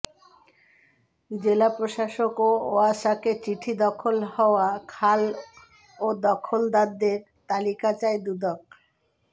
জেলা প্রশাসক ও ওয়াসাকে চিঠি দখল হওয়া খাল ও দখলদারদের তালিকা চায় দুদক